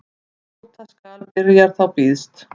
Njóta skal byrjar þá býðst.